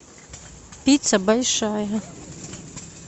пицца большая